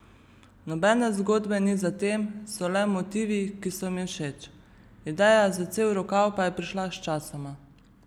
Nobene zgodbe ni za tem, so le motivi, ki so mi všeč, ideja za cel rokav pa je prišla sčasoma.